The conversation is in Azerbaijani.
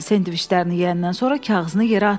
Sendviçlərini yeyəndən sonra kağızını yerə atma.